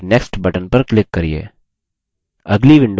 और next button पर click करिये